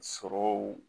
Sɔrɔw